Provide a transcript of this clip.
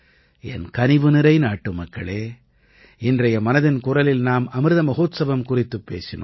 என் கனிவுநிறை நாட்டுமக்களே இன்றைய மனதின் குரலில் நாம் அமிர்த மஹோத்சவம் குறித்துப் பேசினோம்